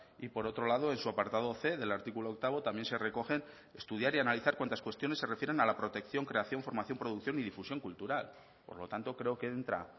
y por otro lado en su apartado c del artículo octavo también se recogen estudiar y analizar cuantas cuestiones se refieren a la protección creación formación producción y difusión cultural por lo tanto creo que entra